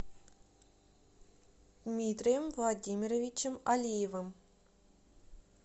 дмитрием владимировичем алиевым